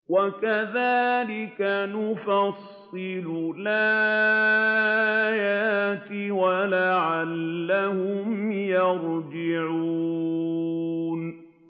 وَكَذَٰلِكَ نُفَصِّلُ الْآيَاتِ وَلَعَلَّهُمْ يَرْجِعُونَ